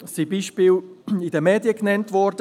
In den Medien sind Beispiele genannt worden.